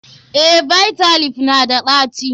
Eh, Bitter leaf na da ɗaci.